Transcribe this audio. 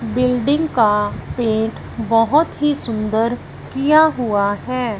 Building का paint बहुत ही सुंदर किया हुआ है।